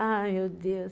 Ai, meu Deus.